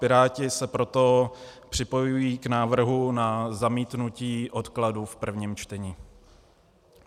Piráti se proto připojují k návrhu na zamítnutí odkladu v prvním čtení.